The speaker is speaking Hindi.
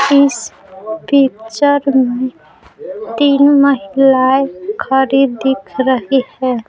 इस पिक्चर में तीन महिलाएं खरी दिख रही है।